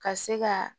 Ka se ka